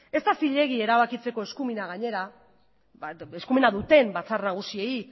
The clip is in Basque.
ez da zilegi erabakitzeko eskumena duten batzar nagusiei